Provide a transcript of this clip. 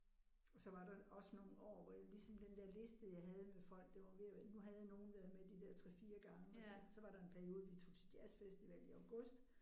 Og så var der også nogle år hvor jeg ligesom den der liste jeg havde med folk den var ved at være nu havde jeg nogle der havde været med de der 3 4 gange og så så var der en periode vi tog til jazzfestival i august